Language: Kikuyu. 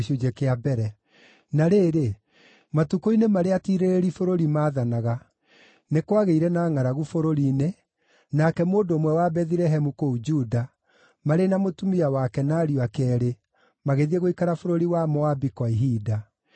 Na rĩrĩ, matukũ-inĩ marĩa atiirĩrĩri bũrũri maathanaga, nĩ kwagĩire na ngʼaragu bũrũri-inĩ, nake mũndũ ũmwe wa Bethilehemu kũu Juda, marĩ na mũtumia wake, na ariũ ake eerĩ, magĩthiĩ gũikara bũrũri wa Moabi kwa ihinda.